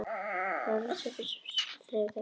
Mattína, hvað er opið lengi á þriðjudaginn?